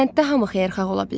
Kənddə hamı xeyirxah ola bilər.